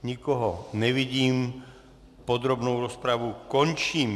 Nikoho nevidím, podrobnou rozpravu končím.